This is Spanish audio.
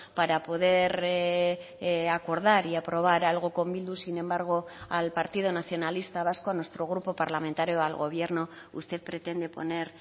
para poder acordar y aprobar algo con bildu sin embargo al partido nacionalista vasco a nuestro grupo parlamentario al gobierno usted pretende poner